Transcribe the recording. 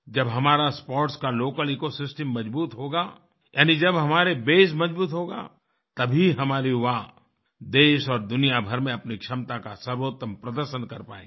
जब हमारा स्पोर्ट्स का लोकल इकोसिस्टम मजबूत होगा यानी जब हमारा बसे मजबूत होगा तब ही हमारे युवा देश और दुनिया भर में अपनी क्षमता का सर्वोत्तम प्रदर्शन कर पाएंगे